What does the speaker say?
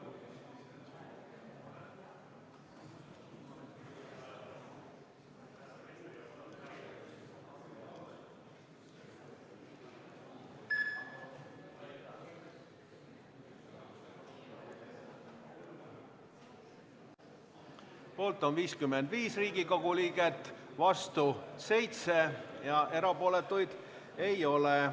Hääletustulemused Poolt on 55 Riigikogu liiget, vastu 7 ja erapooletuid ei ole.